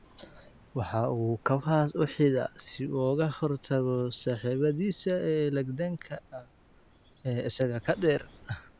Waxa uu kabahaas u xidhaa si uu uga hor tago saaxiibadiisa legdanka ah ee isaga ka dheer.